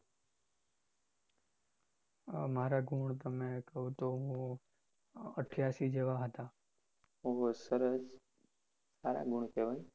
ખુબ જ સરસ સારા ગુણ કેવાય.